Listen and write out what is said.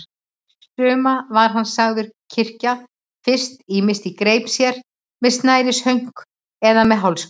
Suma var hann sagður kyrkja fyrst, ýmist í greip sér, með snærishönk eða með hálsklút.